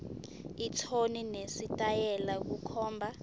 ithoni nesitayela kukhomba